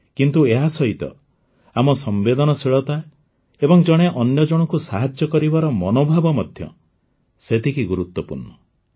କିନ୍ତୁ ଏହାସହିତ ଆମ ସମ୍ବେଦନଶୀଳତା ଏବଂ ଜଣେ ଅନ୍ୟ ଜଣକୁ ସାହାଯ୍ୟ କରିବାର ମନୋଭାବ ମଧ୍ୟ ସେତିକି ଗୁରୁତ୍ୱପୂର୍ଣ୍ଣ